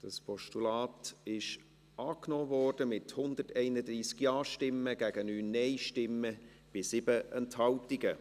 Das Postulat wurde angenommen, mit 131 Ja- gegen 9 Nein-Stimmen bei 7 Enthaltungen.